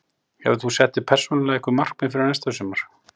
Hefur þú sett þér persónulega einhver markmið fyrir næsta sumar?